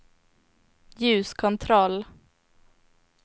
ljuskontroll